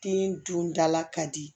Den dun dala ka di